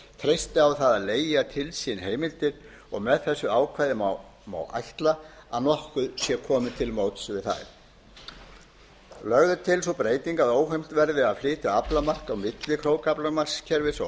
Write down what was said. treysti á það að leigja til sín heimildir og með þessu ákvæði má ætla að nokkuð sé komið til móts við það lögð er til sú breyting að óheimilt verði að flytja aflamark á milli krókaaflamarkskerfis og aflamarkskerfis jafnframt